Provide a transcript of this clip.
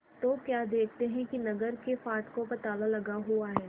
तो क्या देखते हैं कि नगर के फाटकों पर ताला लगा हुआ है